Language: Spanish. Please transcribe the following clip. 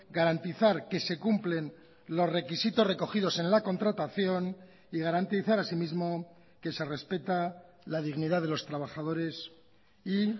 garantizar que se cumplen los requisitos recogidos en la contratación y garantizar así mismo que se respeta la dignidad de los trabajadores y